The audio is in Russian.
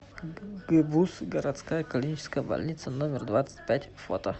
гбуз городская клиническая больница номер двадцать пять фото